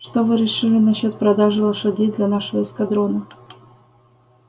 что вы решили насчёт продажи лошадей для нашего эскадрона